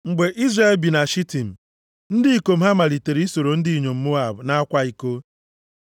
Mgbe Izrel bi na Shitim, ndị ikom ha malitere isoro ndị inyom Moab na-akwa iko.